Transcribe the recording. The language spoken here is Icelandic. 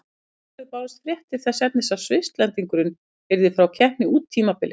Í kjölfarið bárust fréttir þess efnis að Svisslendingurinn yrði frá keppni út tímabilið.